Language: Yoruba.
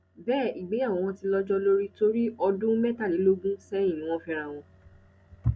bẹẹ ìgbéyàwó wọn ti lọjọ lórí torí ọdún mẹtàlélógún sẹyìn ni wọn fẹra wọn